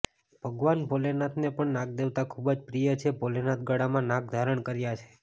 ભગવાન ભોલેનાથને પણ નાગદેવતા ખુબજ પ્રિય છે ભોલેનાથે ગળામાં નાગ ધારણ કર્યા છે